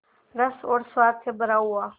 रस और स्वाद से भरा हुआ